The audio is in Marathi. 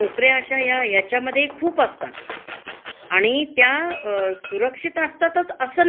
ते तुम्ही जोपर्यंत काम तुमच चांगला करताय, हा. आणि मालकाची मर्जी संभाळून आहे, हा.